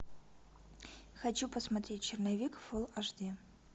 хочу посмотреть черновик фул аш ди